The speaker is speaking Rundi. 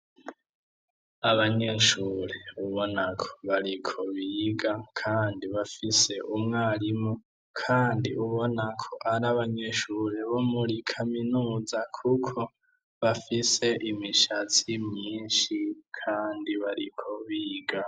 Abanyeshure ubonako bariko bariga kandi bafise umwarimu kandi ubonako ari abanyeshure bo muri kaminuza kuko bafise imishatsi myinshi kandi bariko biga.